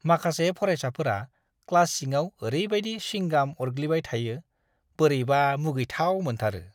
माखासे फारायसाफोरा क्लास सिङाव ओरैबायदि स्विंगाम अरग्लिबाय थायो, बोरैबा मुगैथाव मोनथारो!